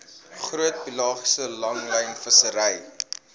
groot pelagiese langlynvissery